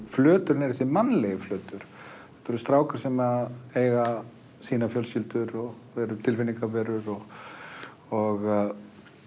flöturinn er þessi mannlegi flötur þetta eru strákar sem eiga sínar fjölskyldur og eru tilfinningaverur og og